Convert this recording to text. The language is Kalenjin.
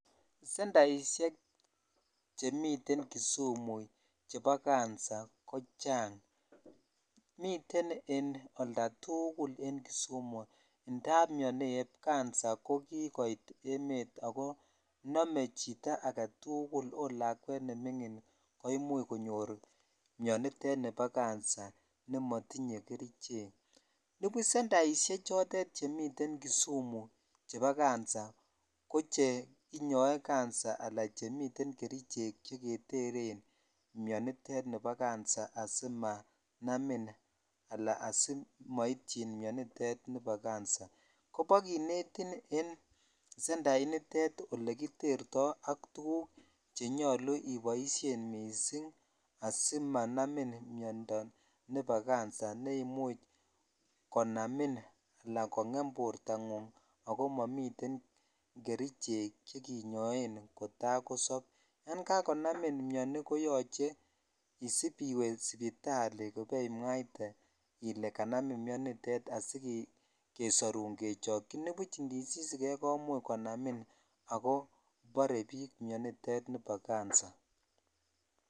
Sandaishek chemitten kisimu chebo cancer ko chang miten oldatujul en kisumu indam mioni en cancer ko kikoit emet ako nome chito agetukul at lakwet nemingin ko imuch konyor mionitet nibo cancer ne motinye kerichek nubu sendaishek chemiten kisumu chebo cancer ko cheinyoe ala chemiten kerichek cheketren mioniten ni bo cancer asimanam ala simoityin mionitet nibo cancer koba kinetin en senda initet ole kiterto ak tuguk chenyou ibioshen missing asimanamin miondoo nebo cancer ne imuch kongemin ala konam bortangung ak momiten kerichek chekinnoen kotaa kosop yan jakonamin mioni koyoche isipiiwe sipitali kopaimwaitee ile janamin mionitet asi kesorun kechochi nibuch indisisikeri ko imuch konamin akobore biik mionitet nibo cancer.